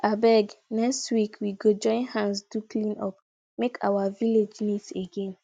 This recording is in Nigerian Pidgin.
abeg next week we go join hands do cleanup make our village neat again